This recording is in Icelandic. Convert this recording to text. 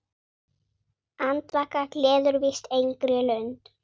Andvaka gleður víst engra lund.